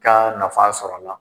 Ka nafa sɔrɔ a la.